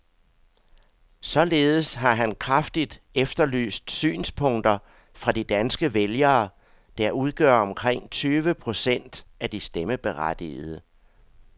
Således har han kraftigt efterlyst synspunkter fra de danske vælgere, der udgør omkring tyve procent af de stemmeberettigede.